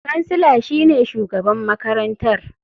Kansila shine shugaban makarantar.